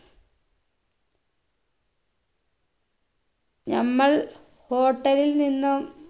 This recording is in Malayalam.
നമ്മൾ hotel ലിൽ നിന്നും